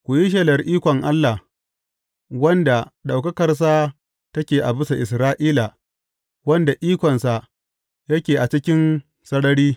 Ku yi shelar ikon Allah, wanda ɗaukakarsa take a bisa Isra’ila, wanda ikonsa yake a cikin sarari.